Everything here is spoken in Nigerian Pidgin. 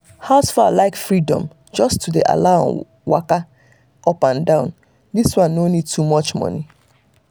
house fowl like freedom just to allow dem dey eaka up and down this one no need too much money